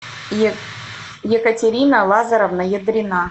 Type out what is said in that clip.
екатерина лазаревна едрина